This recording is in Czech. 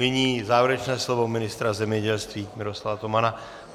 Nyní závěrečné slovo ministra zemědělství Miroslava Tomana.